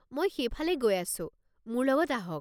মই সেইফালেই গৈ আছোঁ, মোৰ লগতে আহক।